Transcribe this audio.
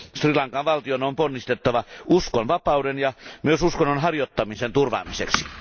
Sri Lankan valtion on ponnisteltava uskonvapauden ja myös uskonnonharjoittamisen turvaamiseksi.